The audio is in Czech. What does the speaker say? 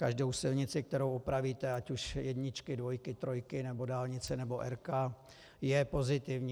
Každou silnici, kterou opravíte, ať už jedničky, dvojky, trojky nebo dálnice nebo R, je pozitivní.